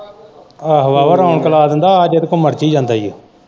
ਆਹੋ ਆਹੋ ਰੌਣਕ ਲਾ ਦਿੰਦਾ ਆ ਜੇਦੇ ਕੋਲੋ ਮਰਜੀ ਆ ਜਾਂਦਾ ਈ ਓ।